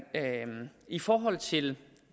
i forhold til